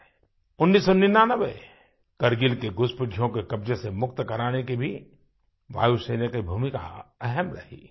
1999 करगिल की घुसपैठियों के कब्ज़े से मुक्त कराने में भी वायुसेना की भूमिका अहम रही है